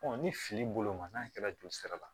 ni fili bolo ma n'a kɛra joli sira la